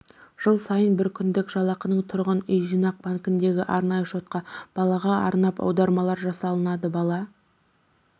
жыл сайын бір күндік жалақының тұрғын үй жинақ банкіндегі арнайы шотқа балаға арнап аударымдар жасалады бала